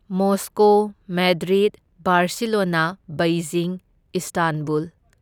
Moscow, Madrid, Barcelona, Beijing, Istanbul